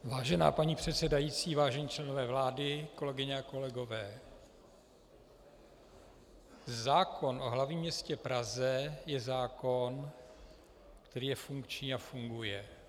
Vážená paní předsedající, vážení členové vlády, kolegyně a kolegové, zákon o hlavním městě Praze je zákon, který je funkční a funguje.